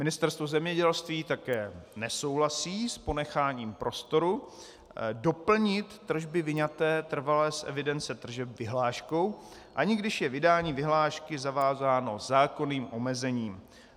Ministerstvo zemědělství také nesouhlasí s ponecháním prostoru doplnit tržby vyňaté trvale z evidence tržeb vyhláškou, ani když je vydání vyhlášky zavázáno zákonným omezením.